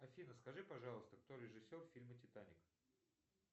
афина скажи пожалуйста кто режиссер фильма титаник